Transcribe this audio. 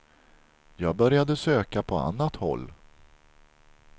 Jag började söka på annat håll.